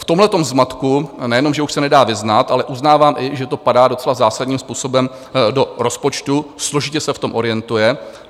V tomhle zmatku nejenom že už se nedá vyznat, ale uznávám i, že to padá docela zásadním způsobem do rozpočtu, složitě se v tom orientuje.